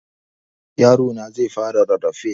Yarona zai fara rarrafe.